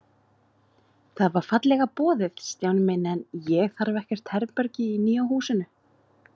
Það var fallega boðið, Stjáni minn, en ég þarf ekkert herbergi í nýja húsinu.